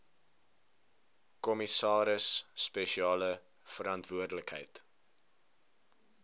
kommissaris spesiale verantwoordelikheid